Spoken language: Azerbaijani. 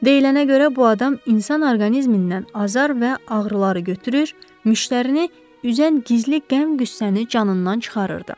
Deyilənə görə bu adam insan orqanizmindən azar və ağrıları götürür, müştərini üzən gizli qəm qüssəni canından çıxarırdı.